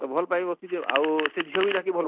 ତ ଭଲ ପାଇ ବସିଛେ ଆଉ ସେ ଝିଅ ବି ତାହାକେ?